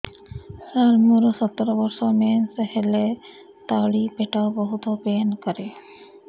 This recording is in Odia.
ସାର ମୋର ସତର ବର୍ଷ ମେନ୍ସେସ ହେଲେ ତଳି ପେଟ ବହୁତ ପେନ୍ କରେ